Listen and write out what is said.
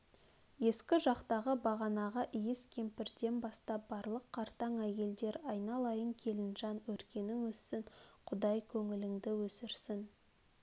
ескі жақтағы бағанағы иіс кемпірден бастап барлық қартаң әйелдер айналайын келінжан өркенің өссін құдай көңіліңді өсірсін